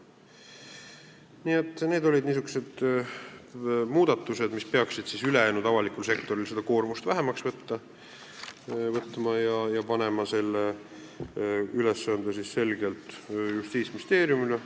Need olid niisugused muudatused, mis peaksid ülejäänud avaliku sektori koormust vähemaks võtma ja panema selle ülesande selgelt Justiitsministeeriumile.